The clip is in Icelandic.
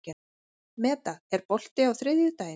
Meda, er bolti á þriðjudaginn?